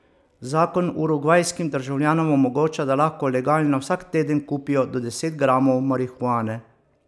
Zakon urugvajskim državljanom omogoča, da lahko legalno vsak teden kupijo do deset gramov marihuane.